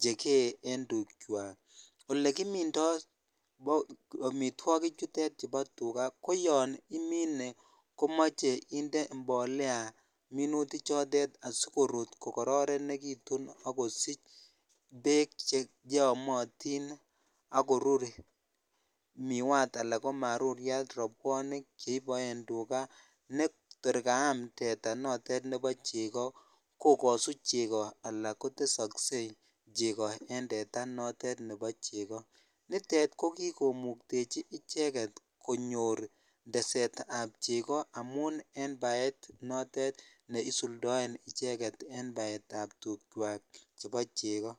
chekee en tukwak, olekimindo amitwokik chutet chubo tuka ko yon imine komoche inde mbolea minuti chotet asikorut ko kororonekitun ak kosich neek cheyomotin ak korur miwat alaa ko maruriat robwonik cheiboen tuka netor kaam teta notet nebo cheko kokosu cheko alaa kotesokse cheko teta notet nebo cheko, nitet ko kikomuktechi icheket konyor tesetab cheko amun en baet notet neisuldoen icheket en baetab tukwak chebo cheko.